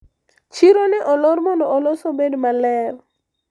chiro ne olor mondo olos obed maler